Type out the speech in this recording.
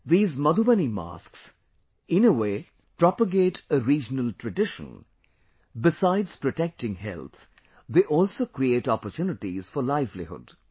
These Madhubani masks, in a way, propagate a regional tradition; besides protecting health, they also create opportunities for livelihood